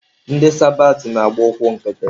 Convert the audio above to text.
Ndị sabat na-agba ụkwụ nkịtị.